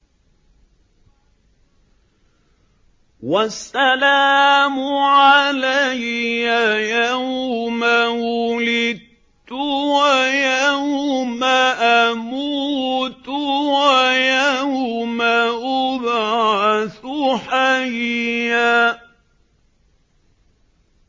وَالسَّلَامُ عَلَيَّ يَوْمَ وُلِدتُّ وَيَوْمَ أَمُوتُ وَيَوْمَ أُبْعَثُ حَيًّا